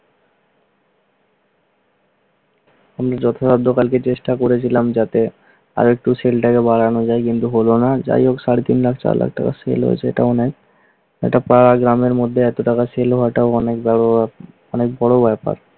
আমি যথাসাধ্য কালকে চেষ্টা করেছিলাম যাতে আরেকটু sell টাকে বাড়ানো যায়। কিন্তু হলো না। যাই হোক সাড়ে তিন লাখ-চার লাখ টাকা sell হয়েছে এটা অনেক। একটা পাড়া গ্রামের মধ্যে এতো টাকা sell হওয়াটাও অনেক বড় ব্যাপ~ অনেক বড় ব্যাপার।